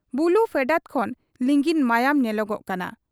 ᱵᱩᱞᱩ ᱯᱷᱮᱰᱟᱛ ᱠᱷᱚᱱ ᱞᱤᱸᱜᱤᱱ ᱢᱟᱭᱟᱝ ᱧᱮᱞᱚᱜᱚᱜ ᱠᱟᱱᱟ ᱾